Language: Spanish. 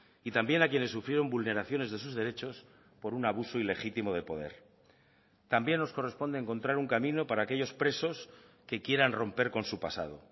y también a quienes sufrieron vulneraciones de sus derechos por un abuso ilegitimo de poder también nos corresponde encontrar un camino para aquellos presos que quieran romper con su pasado